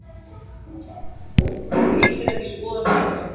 Lýsir ekki skoðun stjórnvalda